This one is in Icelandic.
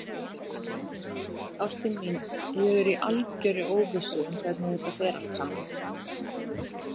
Ástin mín, ég er í algerri óvissu um hvernig þetta fer allt saman.